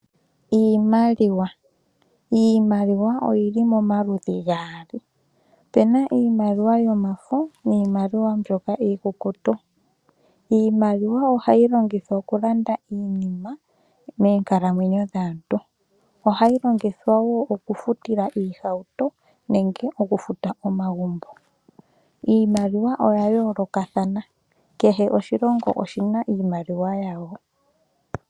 Iimaliwa, iimaliwa oyili momaludhi gaali, opuna iimaliwa yomafo niimaliwa mbyoka iikukutu. Iimaliwa ohayi longithwa okulanda iinima meenkalamwenyo dhaantu, ohayi longithwa woo okufutila iihauto nenge okufuta omagumbo. Iimaliwa oya yoolokathana, kehe oshilongo oshina iimaliwa yasho.